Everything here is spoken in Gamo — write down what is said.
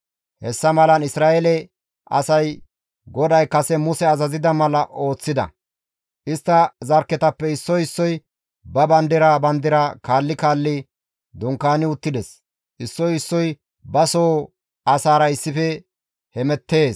Hessa malan Isra7eele asay GODAY kase Muse azazida mala ooththida; istta zarkketappe issoy issoy ba bandira bandira kaalli kaalli dunkaani uttides; issoy issoy ba soo asaara issife hemettees.